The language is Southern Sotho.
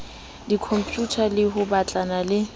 dikhompyuta le ho batlana le